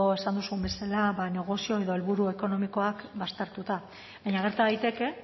esan duzun bezala ba negozio edo helburu ekonomikoak baztertuta baina gerta daiteke